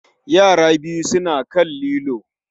Yara biyu suna kan lilo